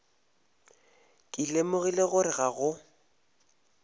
ke lemogile gore ga go